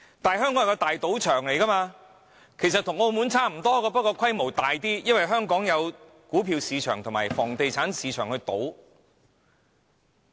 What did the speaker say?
香港其實與澳門無異，是一個賭場，只是規模更大而已，因為香港有股票市場及房地產市場供人賭博。